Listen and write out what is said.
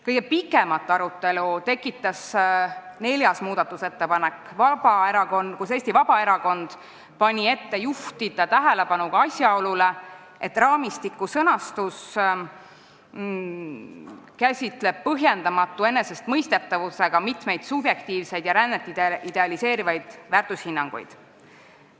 Kõige pikemat arutelu tekitas neljas muudatusettepanek, kus Eesti Vabaerakond pani ette juhtida tähelepanu ka asjaolule, et raamistiku sõnastus käsitleb põhjendamatu enesestmõistetavusega mitmeid subjektiivseid ja rännet idealiseerivaid väärtushinnanguid.